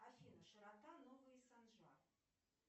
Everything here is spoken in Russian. афина широта новые санжары